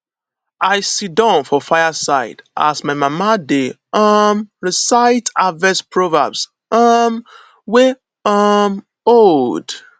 i sidon for fire side as my mama dey um recite harvest proverbs um wey um old